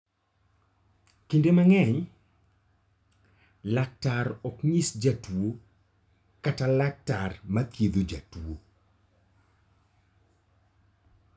Kinde mang'eny, laktar ok nyis jatuwo kata laktar ma thiedho jatuwo.